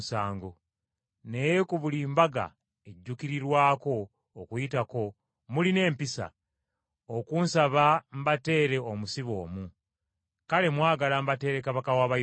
Naye ku buli mbaga ejjuukirirwako Okuyitako mulina empisa, onkusaba mbateere omusibe omu. Kale mwagala mbateere Kabaka w’Abayudaaya?”